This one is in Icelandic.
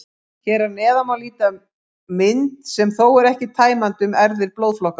Hér að neðan má líta mynd, sem þó er ekki tæmandi, um erfðir blóðflokkanna.